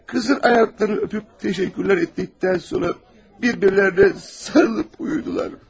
Qızın ayaqlarını öpüb təşəkkürlər etdikdən sonra bir-birilərinə sarılıb uyudular.